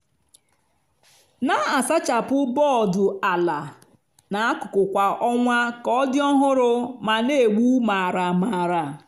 na-asachapụ bọọdụ ala na akụkụ kwa ọnwa ka ọ dị ọhụrụ ma na-egbu maramara.